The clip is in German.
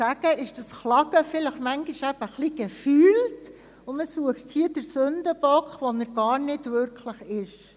Deshalb ist die Klage bisweilen wohl eher etwas «gefühlt», und man sucht einen Sündenbock, der im Grunde gar keiner ist.